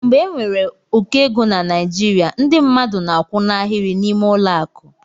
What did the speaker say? Mgbe enwere ụkọ égo na Naijiria ndị mmadụ na akwụ n' Ahiri n'ime ụlọ akụ.